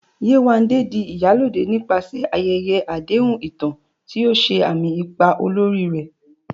Yewande di "Iyalode" nípasẹ̀ ayẹyẹ àdéhùn ìtàn, tí ó ṣe àmì ipa olórí rẹ̀.